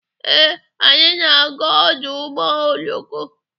Ee, anyị na-aga ọdụ ụgbọ oloko.